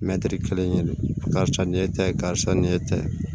Mɛtiri kelen karisa nin e ta ye karisa nin ye ne ta ye